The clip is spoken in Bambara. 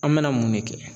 An bɛna mun de kɛ